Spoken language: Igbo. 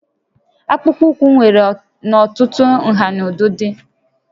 Akpụkpọ ụkwụ nwere n'ọtụtụ nhà na ụdịdị